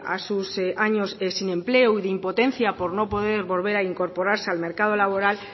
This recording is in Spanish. a sus años sin empleo y de impotencia por no poder volver a incorporarse al mercado laboral